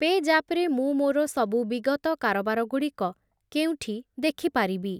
ପେଜାପ୍ ରେ ମୁଁ ମୋର ସବୁ ବିଗତ କାରବାରଗୁଡ଼ିକ କେଉଁଠି ଦେଖିପାରିବି?